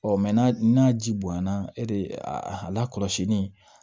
n'a n'a ji bonya na e de lakɔlɔsili